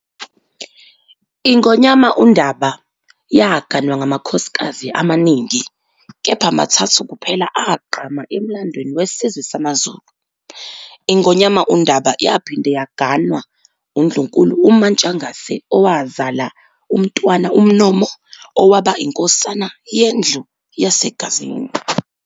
INgonyama uNdaba yaganwa ngamakhosikazi amaningi kepha mathathu kuphela agqama emlandweni wesizwe samaZulu. INgonyama uNdaba yaphinde yagwanwa uNdlunkulu uMaNtshangase owazala uMntwana uMnomo owaba iNkosana yeNdlu yaseGazini.